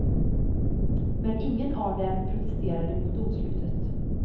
Men ingen av dem protesterade mot domslutet.